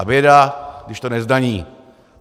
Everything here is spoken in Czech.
A běda, když to nezdaní.